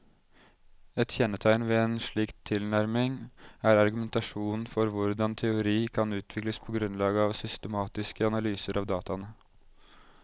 Et kjennetegn ved en slik tilnærming er argumentasjonen for hvordan teori kan utvikles på grunnlag av systematiske analyser av dataene.